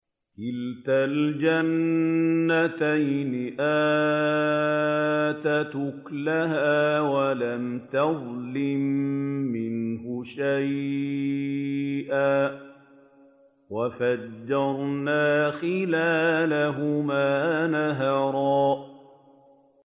كِلْتَا الْجَنَّتَيْنِ آتَتْ أُكُلَهَا وَلَمْ تَظْلِم مِّنْهُ شَيْئًا ۚ وَفَجَّرْنَا خِلَالَهُمَا نَهَرًا